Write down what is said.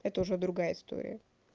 это уже другая история